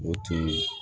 O tun ye